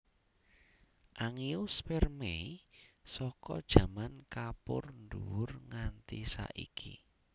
Angiospermae saka jaman Kapur nDuwur nganti saiki